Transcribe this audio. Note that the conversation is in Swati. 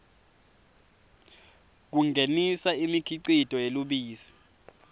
kungenisa imikhicito yelubisi